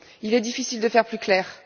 Il est difficile de faire plus clair.